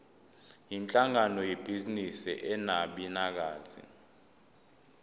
yinhlangano yebhizinisi enabanikazi